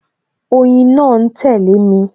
Oyin náà ń tẹle mi